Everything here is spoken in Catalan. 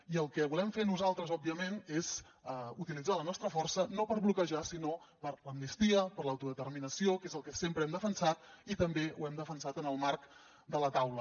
i el que volem fer nosaltres òbviament és utilitzar la nostra força no per bloquejar sinó per l’amnistia per l’autodeterminació que és el que sempre hem defensat i també ho hem defensat en el marc de la taula